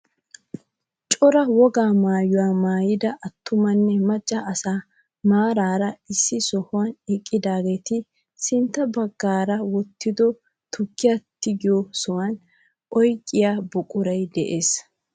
Cora wogaa maayuwaa mayyida attumanne macca asay maarara issi sohuwaan eqqidaageti sintta baggaara wottido tukkiyaa tigiyoo sooniyaa oyqiyaa buquray de'ees.